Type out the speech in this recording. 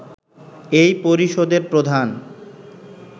এই পরিষদের প্রধান